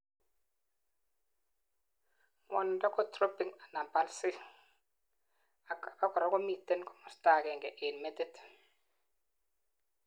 ngwonindo ko throbbing anan pulsing, ak abakora komiten komosto agengei en metit